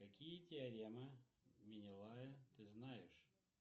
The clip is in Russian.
какие теоремы минелая ты знаешь